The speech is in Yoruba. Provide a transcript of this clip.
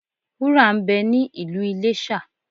Wúrà ń bẹ ní Ìlú Iléṣà.